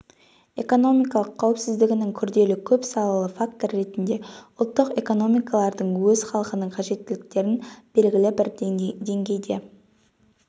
экономикалық қауіпсіздігінің күрделі көп салалы фактор ретінде ұлттық экономикалардың өз халқының қажеттіктерін белгілі бір деңгейде